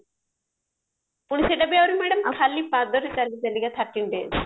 ପୁଣି ସେଟା ବି ଆହୁରି madam ଖାଲି ପାଦରେ ଚାଲି ଚାଲିକା thirteen days